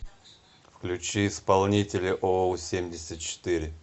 включи исполнителя оу семьдесят четыре